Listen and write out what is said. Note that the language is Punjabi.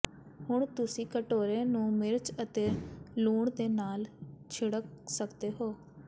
ਹੁਣ ਤੁਸੀਂ ਕਟੋਰੇ ਨੂੰ ਮਿਰਚ ਅਤੇ ਲੂਣ ਦੇ ਨਾਲ ਛਿੜਕ ਸਕਦੇ ਹੋ